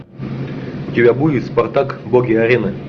у тебя будет спартак боги арены